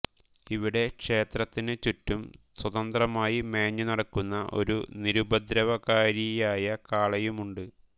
ഇവിടെ ക്ഷേത്രത്തിനു ചുറ്റും സ്വതന്ത്രമായി മേഞ്ഞുനടക്കുന്ന ഒരു നിരുപദ്രവകാരിയായ കാളയുമുണ്ട്